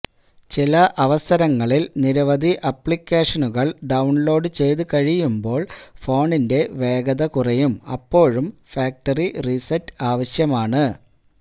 ചില അവസരങ്ങളില് നിരവധി ആപ്ലിക്കേഷനുകള് ഡൌണ്ലോഡ് ചെയ്തു കഴിയുമ്പോള് ഫോണിന്റെ വേഗത കുറയും അപ്പോഴും ഫാക്റ്ററി റീസെറ്റ് ആവശ്യമാണ്